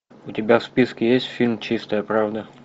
у тебя в списке есть фильм чистая правда